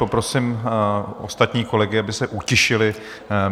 Poprosím ostatní kolegy, aby se utišili.